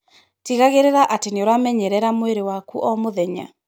Tigagĩrĩra atĩ nĩ ũramenyerera mwĩrĩ waku o mũthenya.